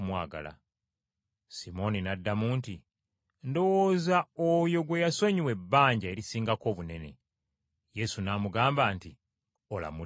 Simooni n’addamu nti, “Ndowooza oyo gwe yasonyiwa ebbanja erisingako obunene.” Yesu n’amugamba nti, “Olamudde bulungi.”